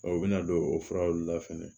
u bɛna don o furaw la fɛnɛ